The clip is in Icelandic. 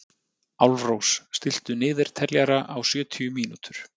Álfrós, stilltu niðurteljara á sjötíu mínútur.